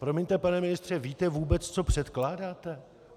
Promiňte, pane ministře, víte vůbec, co předkládáte?